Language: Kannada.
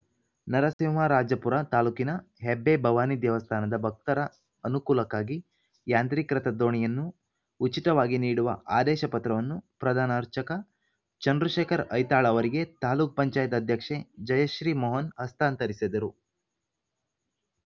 ನರಸಿಂಹರಾಜಪುರ ತಾಲೂಕಿನ ಹೆಬ್ಬೆ ಭವಾನಿ ದೇವಸ್ಥಾನ ಭಕ್ತರ ಅನುಕೂಲಕ್ಕಾಗಿ ಯಾಂತ್ರೀಕೃತ ದೋಣಿಯನ್ನು ಉಚಿತವಾಗಿ ನೀಡುವ ಆದೇಶ ಪತ್ರವನ್ನು ಪ್ರಧಾನ ಅರ್ಚಕ ಚಂದ್ರಶೇಖರ್‌ ಐತಾಳ್‌ ಅವರಿಗೆ ತಾಲೂಕು ಪಂಚಾಯಿತಿ ಅಧ್ಯಕ್ಷೆ ಜಯಶ್ರೀ ಮೋಹನ್‌ ಹಸ್ತಾಂತರಿಸಿದರು